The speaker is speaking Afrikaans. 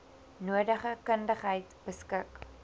nodige kundigheid beskik